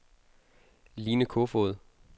Line Kofod